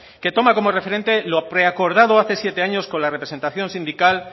que toma como referente lo preacordado hace siete años con la representación sindical